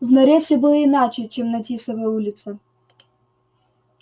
в норе всё было иначе чем на тисовой улице